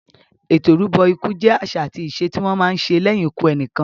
Ètò ìrúbọ ikú jẹ àṣà àti ìṣe tí wọ́n má ń ṣe lẹ́yìn ikú ẹnìkan.